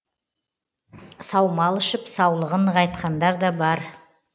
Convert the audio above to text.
саумал ішіп саулығын нығайтқандар да бар